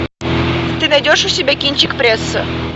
ты найдешь у себя кинчик пресса